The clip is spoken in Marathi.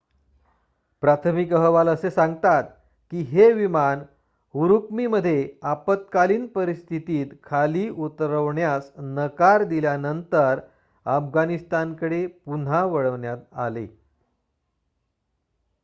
प्राथमिक अहवाल असे सांगतात की हे विमान उरुम्की मध्ये आपत्कालीन परिस्थितीत खाली उतरवण्यास नकार दिल्यानंतर अफगाणिस्तानकडे पुन्हा वळवण्यात आले